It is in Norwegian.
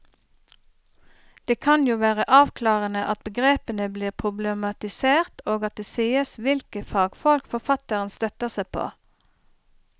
Det kan jo være avklarende at begrepene blir problematisert og at det sies hvilke fagfolk forfatteren støtter seg på.